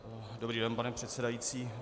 Dobrý den, pane předsedající.